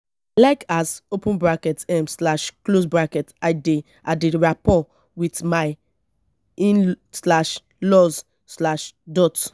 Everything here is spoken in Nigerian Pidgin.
like as open bracket um slash close bracket i dey i dey rapport wit my in slash laws slash dot